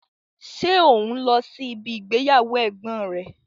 Ṣé o n lọ́ sí ibi ìgbéyàwó ẹ̀gbọ́n rẹ?